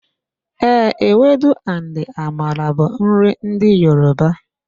Ee, ewedu and amala bụ nri ndị Yoruba.